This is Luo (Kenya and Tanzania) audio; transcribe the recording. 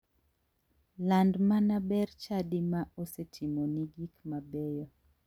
Land mana ber chadi ma osetimoni gik mabeyo.